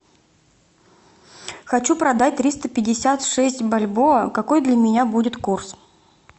хочу продать триста пятьдесят шесть бальбоа какой для меня будет курс